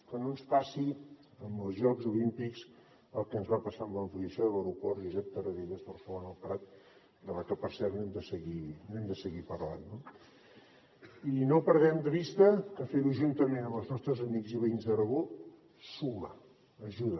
que no ens passi amb els jocs olímpics el que ens va passar amb l’ampliació de l’aeroport josep tarradellas barcelona el prat de la que per cert n’hem de seguir parlant no i no perdem de vista que fer ho juntament amb els nostres amics i veïns d’aragó suma ajuda